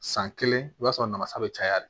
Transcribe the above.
San kelen i b'a sɔrɔ namasa bɛ caya de